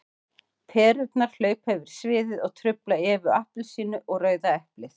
Perurnar hlaupa yfir sviðið og trufla Evu appelsínu og Rauða eplið.